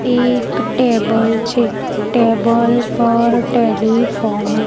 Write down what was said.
એક ટેબલ છે ટેબલ પર ટેલિફોન .